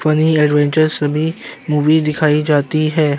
Funny adventure सभी movie दिखाई जाती है।